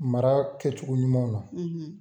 Mara kɛcogo ɲumanw na